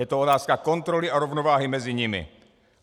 Je to otázka kontroly a rovnováhy mezi nimi.